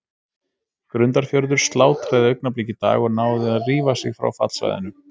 Grundarfjörður slátraði Augnablik í dag og náði að rífa sig frá fallsvæðinu.